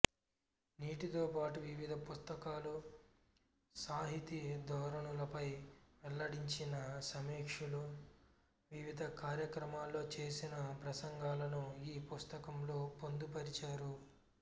వీటితోపాటు వివిధ పుస్తకాలు సాహితీ ధోరణులపై వెల్లడించిన సమీక్షలు వివిధ కార్యక్రమాల్లో చేసిన ప్రసంగాలను ఈ పుస్తకంలో పొందు పరిచారు